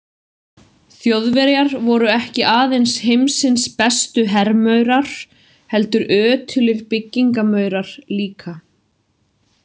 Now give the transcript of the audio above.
Þjóðverjar voru ekki aðeins heimsins bestu hermaurar heldur ötulir byggingarmaurar líka.